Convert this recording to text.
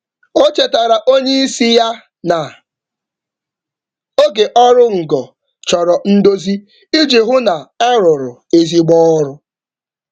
Ọ chetara oga ya na oge oru ngo chọrọ ndozi iji hụ na ọ dị mma.